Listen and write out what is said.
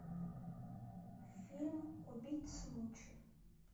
фильм убить смучи